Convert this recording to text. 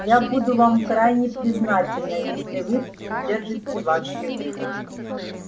я буду вам крайне признательна если вы придержите ваш язык